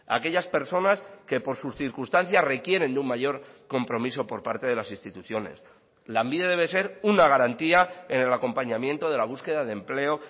aquellas personas que por sus circunstancias requieren de un mayor compromiso por parte de las instituciones lanbide debe ser una garantía en el acompañamiento de la búsqueda de empleo